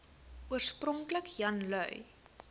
oorspronklik jan lui